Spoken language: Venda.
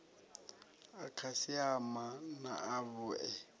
a khasiama na a vhue